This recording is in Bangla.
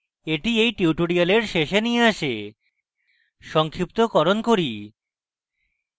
এটি এই tutorial শেষে নিয়ে আসে সংক্ষিপ্তকরণ করি